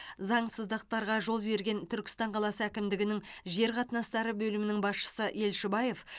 заңсыздықтарға жол берген түркістан қаласы әкімдігінің жер қатынастары бөлімінің басшысы елшібаев